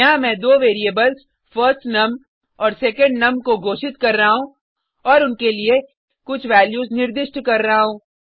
यहाँ मैं दो वेरिएबल्स फर्स्टनम और सेकेंडनम को घोषित कर रहा हूँ और उनके लिए कुछ वैल्यूज निर्दिष्ट कर रहा हूँ